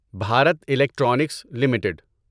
Bharat Electronics limited